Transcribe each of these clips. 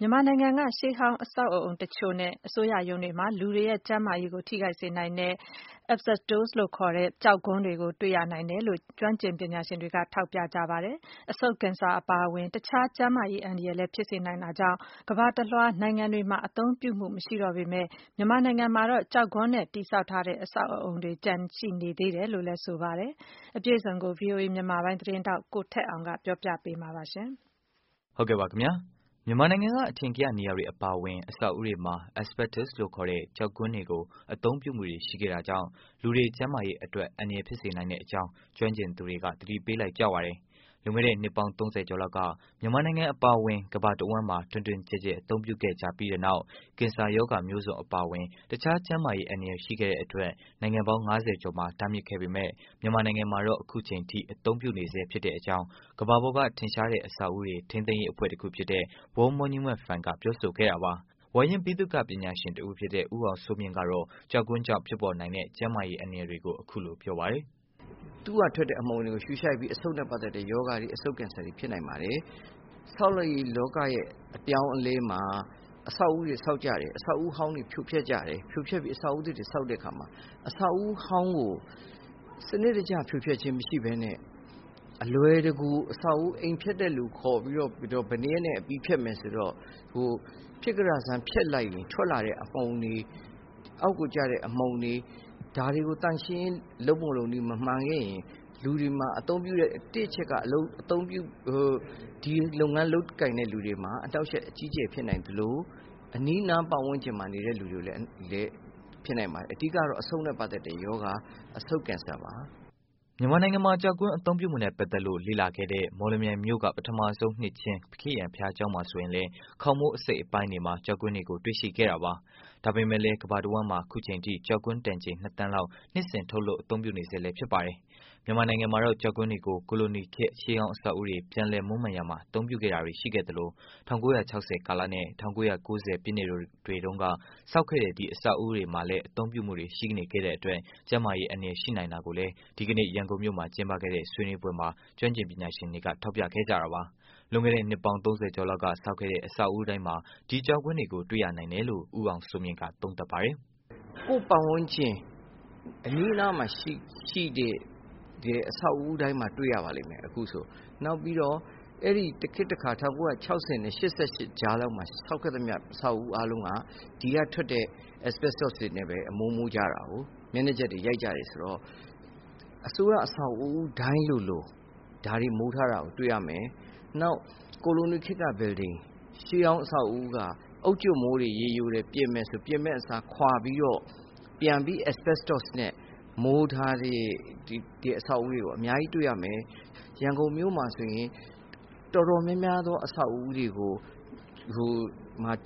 မြန်မာနိုင်ငံရဲ့ ရှေးဟောင်းအဆောက်အုံတစ်ချို့နဲ့ အစိုးရ ရုံးတွေမှာ လူတွေရဲ့ ကျန်းမာရေးကို ထိခိုက်နိုင်တဲ့ Asbestos လို့ခေါ်တဲ့ ကျောက်ဂွမ်းတွေ ကို တွေ့ရနိုင်တယ်လို့ ကျွမ်းကျင်ပညာရှင်တွေက ထောက်ပြကြပါတယ်။ အဆုတ်ကင်ဆာ အပါအဝင် တခြား ကျန်းမာရေး အန္တာရယ် လည်း ဖြစ်စေနိုင်တာကြောင့် ကမ္ဘာတစ်လွား နိုင်ငံတွေမှာ အသုံး ပြုမှု မရှိတော့ပေမယ့် မြန်မာနိုင်ငံမှာတော့ ကျောက်ဂွမ်းနဲ့ တည်ဆောက်ထားတဲ့ အဆောက်အအုံတွေ ကျန်ရှိနေသေးတယ်လို့လည်း ဆိုပါတယ်။ အပြည့်အစုံကိုတော့ ဗွီအိုအေမြန်မာပိုင်း သတင်းထောက် ကိုထက်အောင်က တင်ပြပေးမှာပါ။ မြန်မာနိုင်ငံက အထင်ကရနေရာတွေ အပါအဝင် အဆောက်အဦးတွေမှာ Asbestos လို့ခေါ်တဲ့ ကျောက်ဂွမ်းတွေကို အသုံးပြုမှုတွေ ရှိခဲ့တာကြောင့် လူတွေ ကျန်းမာရေးအတွက် အန္တရာယ်ဖြစ်စေနိုင်တဲ့အကြောင်း ကျွမ်းကျင်သူတွေက သတိပေးလိုက်ကြပါတယ်။ လွန်ခဲ့တဲ့ နှစ်ပေါင်း ၃၀ ကျော်လောက်က မြန်မာနိုင်ငံအပါအဝင် ကမ္ဘာတဝှမ်းမှာ တွင်တွင်ကျယ်ကျယ် အသုံးပြုခဲ့ကြပြီးနောက်၊ ကင်ဆာရောဂါမျိုးစုံ အပါအဝင် တခြားကျန်းမာရေး အန္တရာယ်ရှိတဲ့အတွက် နိုင်ငံပေါင်း ၅၀ ကျော်မှာ တားမြစ်ခဲ့ပေမဲ့၊ မြန်မာနိုင်ငံမှာတော့ အခုအချိန်အထိ အသုံးပြုနေဆဲ ဖြစ်တဲ့ အကြောင်း ကမ္ဘာ့ပေါ်ကထင်ရှားတဲ့ အဆောက်အဦးတွေ ထိန်းသိမ်းရေး အဖွဲ့တခုဖြစ်တဲ့ World Monument Fund က ပြောဆိုခဲ့တာပါ။ ဝါရင့် ဗိသုကာ ပညာရှင် တစ်ဦးဖြစ်တဲ့ ဦးအောင်စိုးမြင့်ကတော့ ကျောက်ဂွမ်းကြောင့် ဖြစ်နိုင်တဲ့ ကျန်းမာရေး အန္တရာယ်တွေကို အခုလို ပြောပါတယ်။ "သူက ထွက်တဲ့အမှုန်တွေကို ရှုရှိုက်ပြီး အဆုတ်နဲ့ပတ်သက်တဲ့ ရောဂါတွေ အဆုတ်ကင်ဆာတွေ ဖြစ်နိုင်ပါတယ်။ ဆောက်လုပ်ရေးလောကရဲ့ အပြောင်းအလဲမှာ အဆောက်အဦးတွေ ဆောက်ကြတယ်။ အဆောက်အဦးအဟောင်းတွေ ဖြိုဖျက်ကြတယ်။ ဖြိုဖျက်ပြီး အဆောက်အဦးသစ်တွေ ဆောက်ကြတဲ့အခါမှာ အဆောက်အဦးဟောင်းကို စနစ်တကျဖြိုဖျက်ခြင်းမရှိပဲ အလွယ်တကူ အဆောက်အဦး အိမ်ဖျက်တဲ့သူခေါ်ပြီးတော့ ဘယ်နှစ်ရက်နဲ့ အပြီးဖျက်မယ် ဆိုတော့ ဖြစ်ကတက်ဆန်း ဖျက်လိုက်ရင် ထွက်လာတဲ့ အမှုန်တွေ အောက်ကိုကျတဲ့ အမှုန်တွေ ဒါတွေကို သန့်ရှင်းရေး လုပ်ပုံလုပ်နည်းမမှန်ခဲ့ရင် လူတွေမှာ အသုံးပြုတဲ့ တစ်အချက်က ဒီလုပ်ငန်းလုပ်ကိုင်တဲ့သူတွေမှာ အနှောင့်အယှက် အကြီးအကျယ်ဖြစ်နိုင်သလို အနီးနားပတ်ဝန်းကျင်မှာ နေတဲ့ သူတွေကိုလည်း ဖြစ်နိုင်ပါတယ်။ အဓိက ကတော့ အဆုတ်နဲ့ပတ်သက်တဲ့ရောဂါ အဆုတ်ကင်ဆာပါ။" မြန်မာနိုင်ငံမှာ ကျောက်ဂွမ်းအသုံးပြုမှုနဲ့ ပတ်သက်လို့ လေ့လာခဲ့တဲ့ မော်လမြိုင်မြို့က ပထမဆုံးနှစ်ခြင်း ခရစ်ယာန် ဘုရားကျောင်းမှာ ဆိုရင်လည်း၊ ခေါင်မိုး အစိတ်အပိုင်းတွေ မှာ ကျောက်ဂွမ်းတွေကို တွေ့ရှိခဲ့တာပါ။ ဒါပေမဲ့လည်း ကမ္ဘာတဝှမ်းမှာ အခုအချိန်အထိ ကျောက်ဂွမ်းတန်ချိန် ၂ သန်းလောက် နှစ်စဉ် ထုတ်လုပ် အသုံးပြုနေဆဲ ဖြစ်ပါတယ်။ မြန်မာနိုင်ငံမှာတော့ ကျောက်ဂွမ်းတွေကို ကိုလိုနီခေတ် ရှေးဟောင်း အဆောက်အဦးတွေ ပြန်လည်မွမ်းမံရာမှာ အသုံးပြုခဲ့တာတွေ ရှိခဲ့သလို၊ ၁၉၆၀ ကာလနဲ့ ၁၉၉၀ ပြည့်နှစ်တွေတုန်းက ဆောက်ခဲ့တဲ့ အဆောက်အဦး အသစ်တွေမှာ အသုံးပြုမှုတွေ ရှိနေခဲ့တဲ့အတွက် ကျန်းမာရေး အန္တရာယ် ရှိနိုင်တာကိုလည်း ဒီကနေ့ ရန်ကုန်မြို့မှာ ကျင်းပတဲ့ ဆွေးနွေးပွဲမှာ ကျွမ်းကျင်ပညာရှင်တွေ ထောက်ပြခဲ့ကြတာပါ။ လွန်ခဲ့တဲ့ နှစ်ပေါင်း ၃၀ ကျော်လောက်က ဆောက်ခဲ့တဲ့ အဆောက်အဦးတိုင်းမှာ ဒီကျောက်ဂွမ်းတွေကို တွေ့ရနိုင်တယ်လို့ ဦးအောင်စိုးမြင့်က သုံးသပ်ပါတယ်။ "ကိုယ့်ပတ်ဝန်းကျင် အနီးနားမှာ ရှိတဲ့အဆောက်အဦးတိုင်းမှာ တွေ့ရပါလိမ့်မယ် အခုဆို။ နောက်ပြီး အဲ့ဒီ့ တခေတ်တခါ အဲ့ဒီ့ ၁၉၆၀နဲ့ ၈၈ ကြားလောက်မှာ ဆောက်ခဲ့တဲ့ အဆောက်အဦးအားလုံးဟာ ဒီကထွက်တဲ့ Asbestos တွေနဲ့ပဲ အမိုးမိုးကြတာ မျက်နှာကျက်တွေ ရိုက်ကြတာဆိုတော့ အစိုးရအဆောက်အဦးတိုင်းလိုလို ဒါတွေ မိုးထားတာကို တွေ့ရမယ်။ နောက် ကိုလိုနီခေတ်က အဆောက်အဦး ရှေးဟောင်းအဆောက်အဦးက အုတ်ကြွပ်မိုးတွေ ပြင်မယ် ရေယိုတယ်ဆိုရင် ပြင်မယ့် အစား ခွာပြီးတော့ ပြန်ပြီး Asbestos နဲ့ မိုးထားတဲ့အဆောက်အဦးတွေကို အများကြီးတွေ့ရမယ်။ ရန်ကုန်မြို့မှာဆိုရင် တော်တော်များများသော အဆောက်အဦးတွေ ကို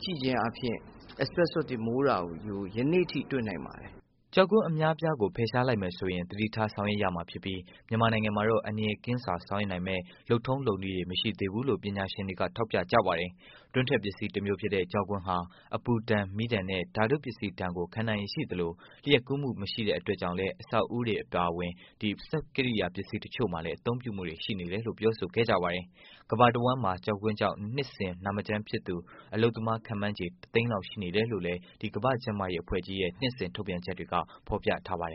ကြည့်ခြင်းအားဖြင့် Asbestos တွေ မိုးတာကို ယနေ့အထိတွေ့နိုင်ပါတယ်။" ကျောက်ကွမ်း အများအပြားကို ဖယ်ရှားလိုက်မယ်ဆိုရင် သတိထား ဆောင်ရွက် ရမှာဖြစ်ပြီး မြန်မာနိုင်ငံမှာတော့ အန္တရာယ်ကင်းစွာ ဆောင်ရွက်နိုင်မယ့် လုပ်ထုံး လုပ်နည်းတွေ မရှိသေးဘူးလို့ ပညာရှင်တွေက ထောက်ပြကြပါတယ်။ တွင်းထွက်ပစ္စည်းတမျိုးဖြစ်တဲ့ ကျောက်ဂွမ်းဟာ အပူဒဏ်၊ မီးဒဏ်နဲ့ ဓာတုပစ္စည်းတွေဒဏ်ကို ခံနိုင်ရည်ရှိသလို၊ လျှပ်ကူးမှုမရှိတဲ့ အတွက်လည်း အဆောက်အဦးတွေအပြင် စက်ကရိယာ ပစ္စည်းတချို့မှာ အသုံးပြုတာတွေ ရှိနေတယ်လို့လည်း ပြောဆိုခဲ့ကြပါတယ်။ ကမ္ဘာတဝှမ်းမှာ ကျောက်ဂွမ်းကြောင့် နှစ်စဉ် နာမကျန်းဖြစ်သူ အလုပ်သမား ခန့်မှန်းချေ တသိန်းလောက် ရှိတယ်လို့လည်း ကမ္ဘာ့ကျန်းမာရေးအဖွဲ့ကြီးရဲ့ နှစ်စဉ်ထုတ်ပြန်ချက်တွေက ဖော်ပြထားပါတယ်